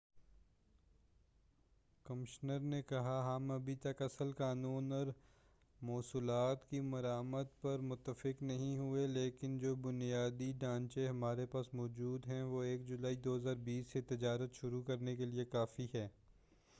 commissioner نے کہا ہم ابھی تک اصل قانون اور محصولات کی مراعات پر متفق نہیں ہوئے ہیں لیکن جو بُنیادی ڈھانچہ ہمارے پاس موجود ہے وہ 1 جولائی 2020 سے تجارت شروع کرنے کیلئے کافی ہے